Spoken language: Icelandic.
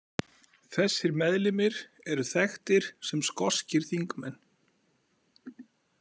Þessir meðlimir eru þekktir sem skoskir þingmenn.